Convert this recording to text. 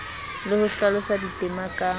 le ho hlalosa ditema ka